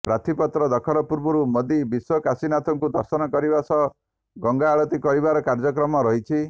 ପ୍ରାର୍ଥିପତ୍ର ଦାଖଲ ପୂର୍ବରୁ ମୋଦି କାଶୀ ବିଶ୍ୱନାଥଙ୍କୁ ଦର୍ଶନ କରିବା ସହ ଗଙ୍ଗା ଆଳତୀ କରିବାର କାର୍ଯ୍ୟକ୍ରମ ରହିଛି